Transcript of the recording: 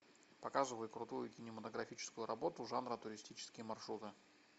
показывай крутую кинематографическую работу жанра туристические маршруты